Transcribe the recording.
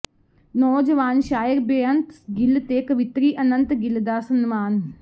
ਨੌਜਵਾਨ ਸ਼ਾਇਰ ਬੇਅੰਤ ਗਿੱਲ ਤੇ ਕਵਿੱਤਰੀ ਅਨੰਤ ਗਿੱਲ ਦਾ ਸਨਮਾਨ